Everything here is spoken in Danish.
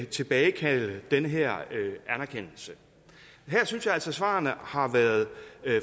tilbagekalde den her anerkendelse her synes jeg altså at svarene har været